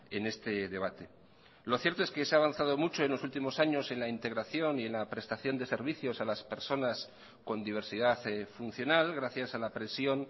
en este debate lo cierto es que se ha avanzado mucho en los últimos años en la integración y en la prestación de servicios a las personas con diversidad funcional gracias a la presión